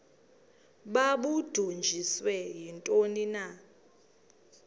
babudunjiswe yintoni na